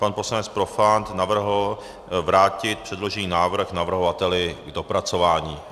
Pan poslanec Profant navrhl vrátit předložený návrh navrhovateli k dopracování.